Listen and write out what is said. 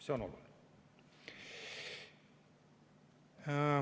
See on oluline.